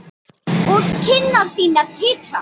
Og kinnar þínar titra.